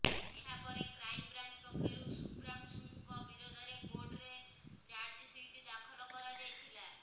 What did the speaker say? ଏହା ପରେ କ୍ରାଇମବ୍ରାଞ୍ଚ ପକ୍ଷରୁ ଶୁଭ୍ରାଶୁଂଙ୍କ ବିରୋଧରେ କୋର୍ଟରେ ଚାର୍ଜସିଟ ଦାଖଲ କରାଯାଇଥିଲା